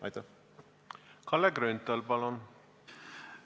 Kalle Grünthal, palun!